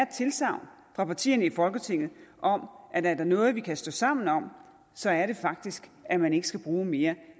tilsagn fra partierne i folketinget om at er der noget vi kan stå sammen om så er det faktisk at man ikke skal bruge mere